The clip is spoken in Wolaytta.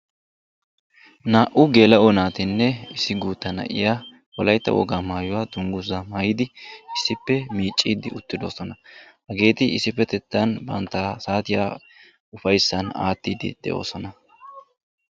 Naa"u geela"o naatinne issi guutta na"iya wolayitta wogaa maayuwa dunguzaa maayidi issippe miicciiddi uttidosona. Hageeti issipetetan bantta saatiya ufayissan aattiiddi de"oosona.